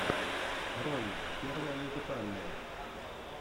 ролик первое музыкальное